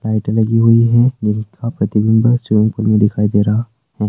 लाइटे लगी हुई है जिनका प्रतिबिंब स्विमिंग पुल में दिखाई दे रहा है।